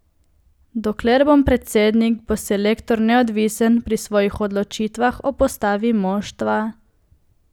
Dokler bom predsednik, bo selektor neodvisen pri svojih odločitvah o postavi moštva.